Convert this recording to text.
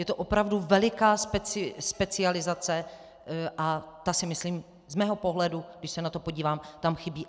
Je to opravdu veliká specializace a ta si myslím, z mého pohledu, když se na to podívám, tam chybí.